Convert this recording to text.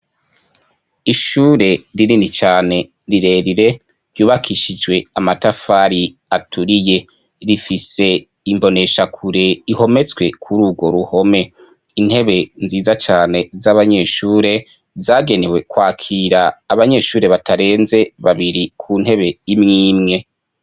Ishure ririni cane rirerire ryubakishijwe amatafari aturiye rifise imboneshakure ihometswe kuri urwo ruhome intebe nziza cane z'abanyeshure zagenewe kwakira abanyeshure batarenze babiri ku ntebe imwimwe